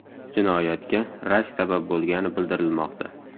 Jinoyatga rashk sabab bo‘lgani bildirilmoqda.